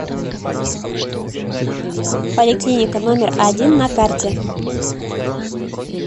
поликлиника номер один на карте